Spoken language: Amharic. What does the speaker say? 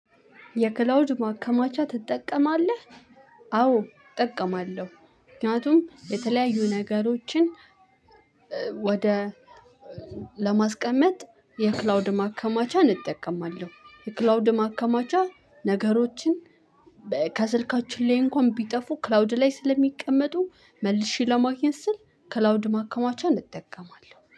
የክላውድ ማከማቻ ትጠቀማለህ? አዎ እጠቀማለሁ። ምክንያቱም የተለያዩ ነገሮችን ወደ ለማስቀመጥ የክላውድ ማከማቻን እጠቀማለሁ። የክላውድ ማከማቻ ነገሮችን ከስልካችን ላይ እንኳን ቢጠፉ፤ ክላውድ ላይ ስለሚቀመጡ መልሼ ለማግኘት ስል ክላውድ ማከማቻን እጠቀማለሁ።